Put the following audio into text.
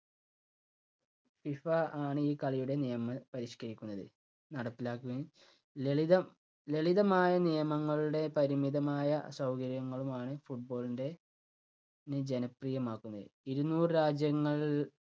FIFA ആണ് ഈ കളിയുടെ നിയമം പരിഷ്കരിക്കുന്നത്. നടപ്പിലാക്കുകയും ലളിതം ലളിതമായ നിയമങ്ങളുടെ പരിമിതമായ സൗകര്യങ്ങളുമാണ് football ന്റെ നെ ജനപ്രിയമാക്കുന്നത്. ഇരുന്നൂറ് രാജ്യങ്ങൾ